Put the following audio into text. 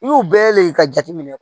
I y'u bɛɛ le ka jateminɛ